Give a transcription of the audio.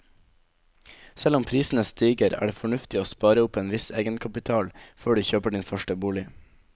Selv om prisene stiger er det fornuftig å spare opp en viss egenkapital før du kjøper din første bolig.